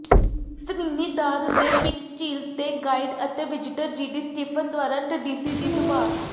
Trinidad ਦੇ pitch ਝੀਲ ਤੇ ਗਾਈਡ ਅਤੇ ਵਿਜ਼ਿਟਰ ਜੀਡੀ ਸਟੀਫਨ ਦੁਆਰਾ ਟੀਡੀਸੀ ਦੀ ਸੁਭਾਅ